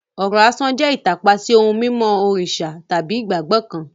Ọ̀rọ̀ asán jẹ́ ìtàpá sí ohun mímọ́ òrìṣà tàbí ìgbàgbọ́ kan.